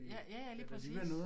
Ja ja ja lige præcis